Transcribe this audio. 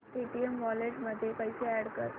Paytm wallet मध्ये पैसे add कर